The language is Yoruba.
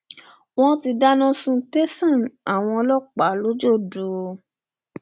wọn ti dáná sun tẹsán àwọn ọlọpàá l'ojọdù o